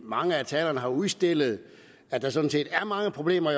mange af talerne har udstillet at der sådan set er mange problemer